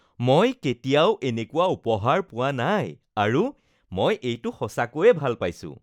মই কেতিয়াও এনেকুৱা উপহাৰ পোৱা নাই আৰু মই এইটো সঁচাকৈয়ে ভাল পাইছো